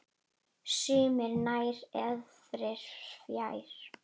Sumir nær, aðrir fjær.